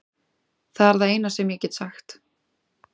Það er það eina sem ég get sagt.